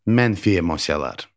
Mənfi emosiyalar.